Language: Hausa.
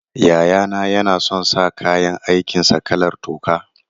Yayana yana son sa kayan aikin sa kalar toka.